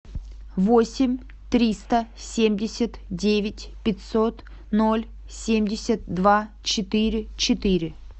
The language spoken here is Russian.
восемь триста семьдесят девять пятьсот ноль семьдесят два четыре четыре